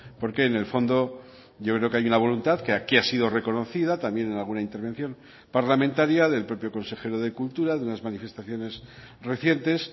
porque en el fondo yo creo que hay una voluntad que aquí ha sido reconocida también en alguna intervención parlamentaria del propio consejero de cultura de unas manifestaciones recientes